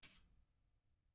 Helgi og Martha Eiríks.